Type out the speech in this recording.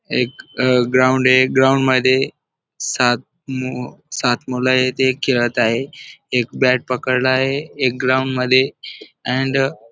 एक अ ग्राउंड आहे. ग्राउंड मध्ये सात मु सात मुल आहेत एक खेळत आहे. एक बॅट पकडला आहे एक ग्राउंड मध्ये अँड --